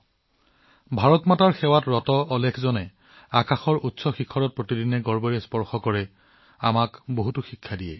মা ভাৰতীৰ সেৱাত বহুতে প্ৰতিদিনে গৌৰৱেৰে আকাশৰ এই উচ্চতা স্পৰ্শ কৰে আমাক বহুত কথা শিকায়